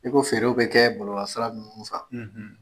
I ko feerew bɛ kɛ bɔlɔlɔsira ninnu .